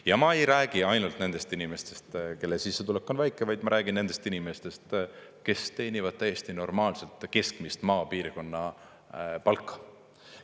Ja ma ei räägi ainult nendest inimestest, kelle sissetulek on väike, vaid ma räägin nendest inimestest, kes teenivad täiesti normaalset keskmist maapiirkonna palka.